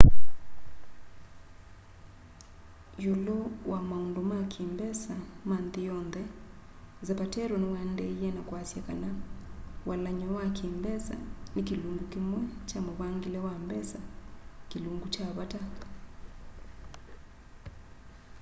lulu wa maundu ma ki mbesa ma nthi yonthe zapatero niwaendeeie ka kwiasya kana walany'o wa ki mbesa ni kilungu kimwe kya muvangile wa mbesa kilungu kya vata